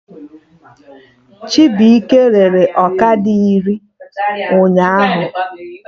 Chibuike rere ọkada iri ụnyaahụ